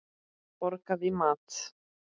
Fékk borgað í mat.